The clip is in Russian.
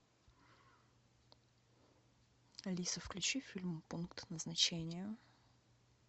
алиса включи фильм пункт назначения